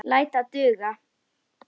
Læt það duga.